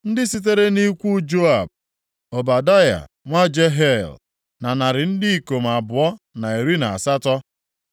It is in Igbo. Ndị sitere nʼikwu Joab, Ọbadaya nwa Jehiel na narị ndị ikom abụọ na iri na asatọ (218),